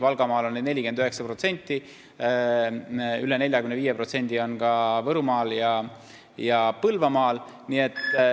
Valgamaal on neid 49%, üle 45% on neid ka Võrumaal ja Põlvamaal.